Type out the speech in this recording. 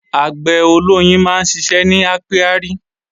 Àgbẹ̀ olóyin máa ń ṣiṣẹ́ ní ápíárì